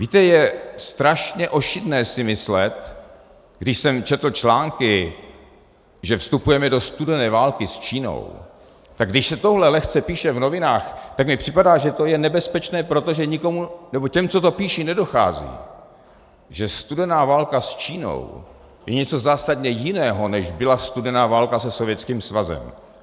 Víte, je strašně ošidné si myslet, když jsem četl články, že vstupujeme do studené války s Čínou, tak když se tohle lehce píše v novinách, tak mi připadá, že to je nebezpečné, protože těm, kdo to píší, nedochází, že studená válka s Čínou je něco zásadně jiného, než byla studená válka se Sovětským svazem.